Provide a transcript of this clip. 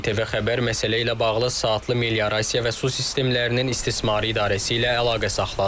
İTV Xəbər məsələ ilə bağlı Saatlı Meliorasiya və Su Sistemlərinin İstismarı İdarəsi ilə əlaqə saxladı.